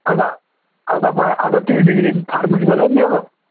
आता आता पाह्य आता तूही degree pharmaceutical